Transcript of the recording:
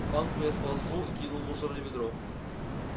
банку я сполоснул и кинул в мусорное ведро